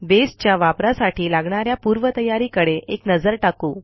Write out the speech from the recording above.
बेसच्या वापरासाठी लागणा या पूर्वतयारीकडे एक नजर टाकू